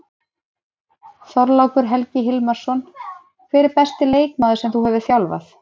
Þorlákur Helgi Hilmarsson Hver er besti leikmaður sem þú hefur þjálfað?